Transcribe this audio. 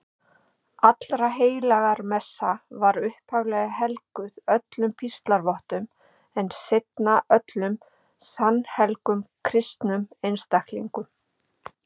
Allraheilagramessa var upphaflega helguð öllum píslarvottum en seinna öllum sannhelgum kristnum einstaklingum.